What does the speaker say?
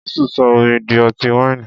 Jésù sọ omi di ọtí wáìnì.